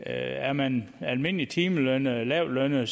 er man almindeligt timelønnet eller lavtlønnet